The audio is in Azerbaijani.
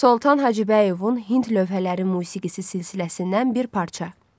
Soltan Hacıbəyovun Hind lövhələri musiqisi silsiləsindən bir parça.